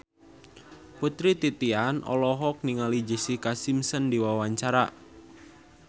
Putri Titian olohok ningali Jessica Simpson keur diwawancara